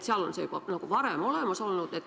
Seal on see võimalus juba varem olemas olnud.